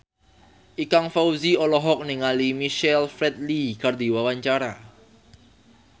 Ikang Fawzi olohok ningali Michael Flatley keur diwawancara